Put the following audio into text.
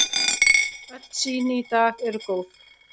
Öll sýni í dag eru góð.